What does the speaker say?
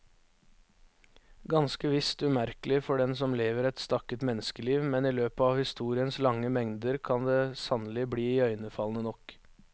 Ganske visst umerkelig for den som lever et stakket menneskeliv, men i løpet av historiens lange lengder kan det sannelig bli iøynefallende nok.